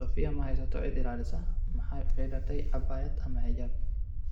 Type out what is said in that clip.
Sofiya ma haysato cid ilaalisa, maxay u xidhatay abaya ama xijaab?